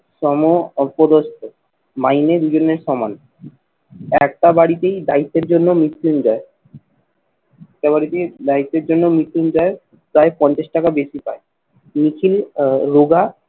সম অপদস্ত মাইনে দুজনের সমান একটা বাড়িতেই দায়িত্বের জন্য মৃত্যুঞ্জয় এবারে কি life এর জন্য missing দেয় প্রায় পঞ্চাশ টাকা বেশি পাই। নিখিল আহ রোগা